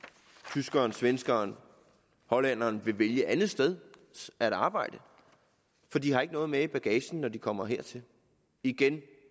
tyskeren svenskeren hollænderen vil vælge et andet sted at arbejde for de har ikke noget med i bagagen når de kommer hertil igen det